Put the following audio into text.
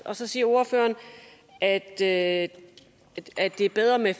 og så siger ordføreren at det at det er bedre med